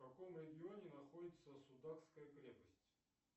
в каком регионе находится судакская крепость